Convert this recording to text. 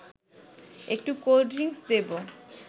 একটু cold drinks দেব